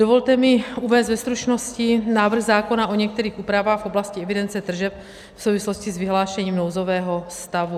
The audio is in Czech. Dovolte mi uvést ve stručnosti návrh zákona o některých úpravách v oblasti evidence tržeb v souvislosti s vyhlášením nouzového stavu.